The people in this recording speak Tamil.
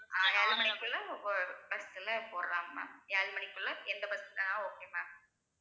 ஆஹ் ஏழு மணிக்குள்ள bus ல போடுறாங்க ma'am ஏழு மணிக்குள்ள எந்த bus ணாலும் okay ma'am